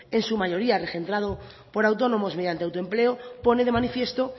en su mayoría regentado por autónomas mediante autoempleo pone de manifiesto